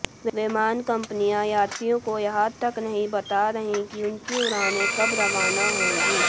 विमान कंपनियां यात्रियों को यह तक नहीं बता रहीं कि उनकी उड़ानें कब रवाना होंगी